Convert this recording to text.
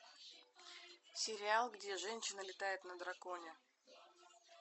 сериал где женщина летает на драконе